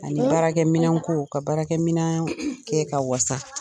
Ani baarakɛminɛn ko ka baaraminɛn kɛ ka wasa